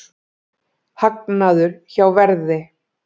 Hagnaður hjá Verði